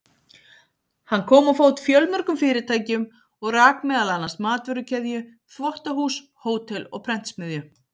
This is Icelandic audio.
Hann kom á fót fjölmörgum fyrirtækjum og rak meðal annars matvörukeðju, þvottahús, hótel og prentsmiðju.